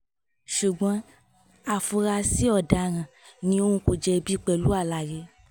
ṣùgbọ́n afurasí ọ̀daràn ni òun kò jẹ̀bi pẹ̀lú àlàyé